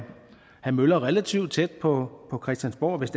have møller relativt tæt på christiansborg hvis